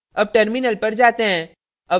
अब terminal पर जाते हैं